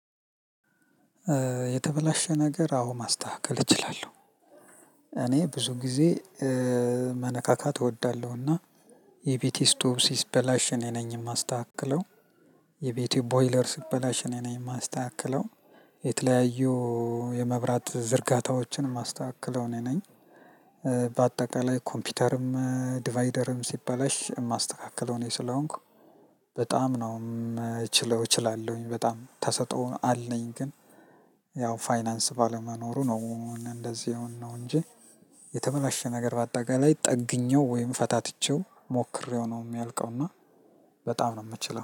የተበላሸ ነገር አዎ ማስተካከል እችላለሁ። እኔ ብዙ ጊዜ መነካካት እወዳለሁና የቤቴ ስቶቭ ስበላሽ እኔ ነኝ ማስተካክለው። የቤቴ ቦይለር ስትበላሽ እኔ ነኝ የማስተካክለው። የተለያዩ የመብራት ዝርጋታዎችን የማስተካክለው እኔ ነኝ በአጠቃላይ ኮምፒውተርም ዲቫይደርም ሲባላሽ የማስተካክለው እኔ ስለሆንኩ በጣም ነው የምችለው እችላለሁኝ በጣም ተሰጥኦ አለኝ ግን ያው ፋይናንስ ባለመኖሩ ነው እንደዚህ የሆን ነው እንጂ የተመላሸ ነገር በአጠቃላይ ጠግኜው ወይም ፈታትቼው ሞክሬው ነው የሚያልቀው እና በጣም ነው የምችለው።